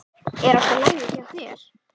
Er allt í lagi hjá þér?